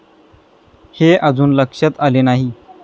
हे अजून लक्षात आले नाही.